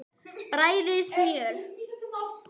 Bræðið smjör.